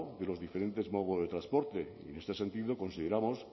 de los diferentes modos de transporte y en este sentido consideramos